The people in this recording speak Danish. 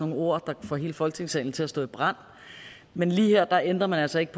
nogle ord der kan få hele folketingssalen til at stå i brand men lige her ændrer man altså ikke